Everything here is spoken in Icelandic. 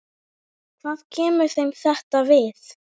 Hvað kemur þeim þetta við?